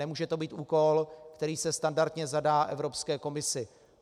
Nemůže to být úkol, který se standardně zadá Evropské komisi.